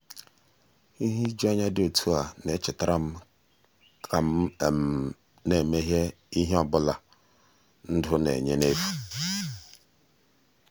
ihe ijuanya dị otú a na-echetara m ka m m ka m na-emeghe ihe ọ bụla ndụ na-enye n'efu.